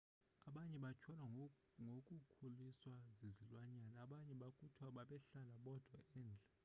abanye batyholwa ngokukhuliswa zizilwanyana abanye kuthiwa bebehlala bodwa endle